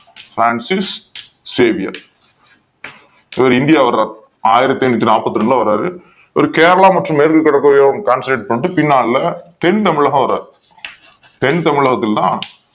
Francis Xavier India வராரு ஆயிரத்தி எண்ணூத்தி நாற்ப்பத்தி இரண்டு ல வர்றாரு இவர் கேரளா மற்றும் மேற்கு கடலோரப் பகுதிகளில் concentrate பண்ணிட்டு பின்னால தென் தமிழகம் வராரு தென் தமிழகத்தில் தான்